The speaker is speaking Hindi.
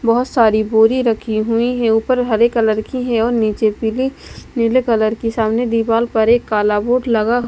बहुत सारी बोरी रखी हुई है ऊपर हरे कलर की है और नीचे पीली कलर के सामने दीवाल पर एक काला बोर्ड लगा--